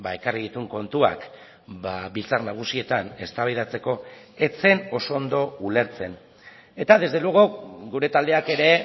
ekarri dituen kontuak biltzar nagusietan eztabaidatzeko ez zen oso ondo ulertzen eta desde luego gure taldeak ere